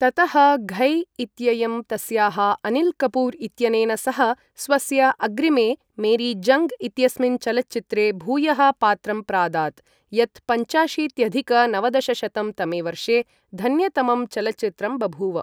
ततः घय् इत्ययं तस्याः अनिल् कपूर् इत्यनेन सह स्वस्य अग्रिमे, मेरी जङ्ग् इत्यस्मिन् चलच्चित्रे भूयः पात्रं प्रादात्, यत् पञ्चाशीत्यधिक नवदशशतं तमे वर्षे धन्यतमं चलच्चित्रम् बभूव।